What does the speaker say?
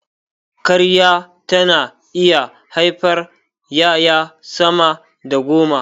Karya tana iya haifar ƴaƴa sama da goma